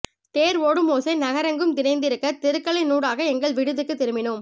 தேர் ஓடும் ஓசை நகரமெங்கும் நிறைந்திருக்க தெருக்களினூடாக எங்கள் விடுதிக்குத் திரும்பினோம்